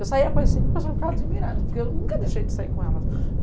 Eu saía com as cinco pessoal ficava admirado, porque eu nunca deixei de sair com elas.